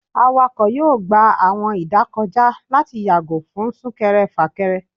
Awakọ yọọ gbá awọn idakojá lati yago fun súnkẹrẹ-fakẹrẹ.